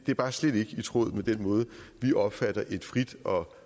er bare slet ikke i tråd med den måde vi opfatter et frit og